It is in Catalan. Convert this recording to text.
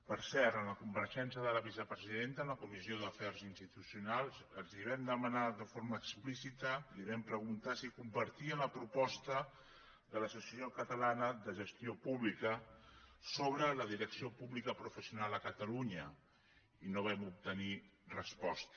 per cert en la compareixença de la vicepresidenta en la comissió d’afers institucionals els vam demanar de forma explícita li vam preguntar si compartia la proposta de l’associació catalana de gestió pública sobre la direcció pública professional a catalunya i no vam obtenir resposta